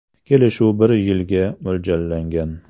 Kelishuv bir yilga mo‘ljallangan.